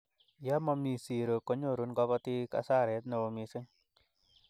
ye mami zero konyorun kabatik asaret neo mising